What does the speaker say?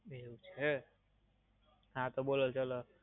એવું છે. હાં તો બોલો ચાલો.